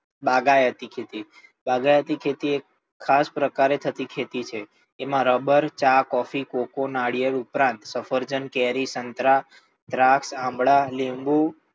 બાગાયતી ખેતી, બાગાયતી ખેતી એ ખાસ પ્રકારે થતી ખેતી છે. તેમાં રબર, ચા, કોફી, કોકો, નાળિયેર ઉપરાંત સફરજન, કેરી, સંતરા, દ્રાક્ષ, આમળા, લીંબુ,